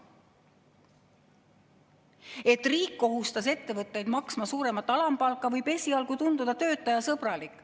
See, et riik kohustas ettevõtteid maksma suuremat alampalka, võib esialgu tunduda töötajasõbralik.